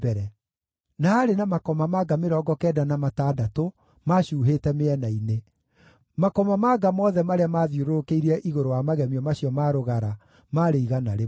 Na haarĩ na makomamanga mĩrongo kenda na matandatũ maacuuhĩte mĩena-inĩ; makomamanga mothe marĩa maathiũrũrũkĩirie igũrũ wa magemio macio ma rũgara maarĩ igana rĩmwe.